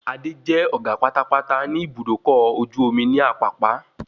Adé jẹ́ ọ̀gá pátápátá ní Ibùdókọ̀ ọkọ̀ ojú omi ní Àpápá